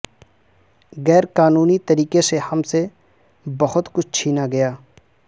غیرقانونی طریقے سے ہم سے بہت کچھ چھینا گیا